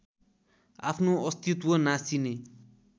आफ्नो अस्तित्व नासिने